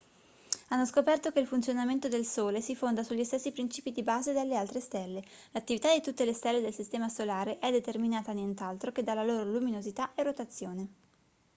hanno scoperto che il funzionamento del sole si fonda sugli stessi principi di base delle altre stelle l'attività di tutte le stelle del sistema solare è determinata nient'altro che dalla loro luminosità e rotazione